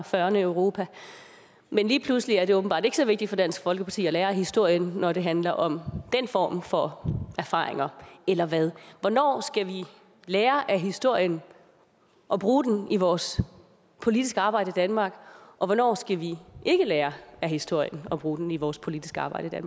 fyrrerne i europa men lige pludselig er det åbenbart ikke så vigtigt for dansk folkeparti at lære af historien når det handler om den form for erfaringer eller hvad hvornår skal vi lære af historien og bruge den i vores politiske arbejde i danmark og hvornår skal vi ikke lære af historien og bruge den i vores politiske arbejde